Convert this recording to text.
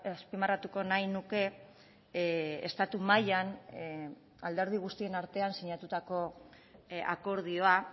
azpimarratuko nahi nuke estatu mailan alderdi guztion artean sinatutako akordioa